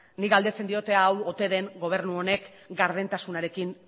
ni galdetzen diot hau ote den gobernu honek gardentasunarekin